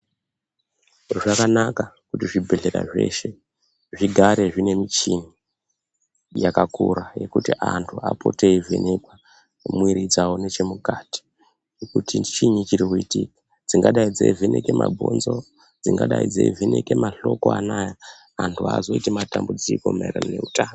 Zvakanaka kuti zvibhedhlera zveshe zvigare zvine michini yakakura yekuti antu apote eivheneka mwiri dzawo nezvemukati dzingadai dzeivheneka ungoita mabhonxo vantu vazoita matambudziko maererano nehutano.